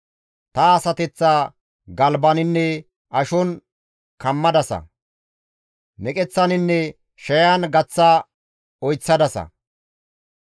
Ta asateththa galbaninne ashon kammadasa; meqeththaninne shayan gaththa oyththadasa.